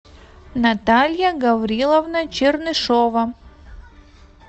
наталья гавриловна чернышева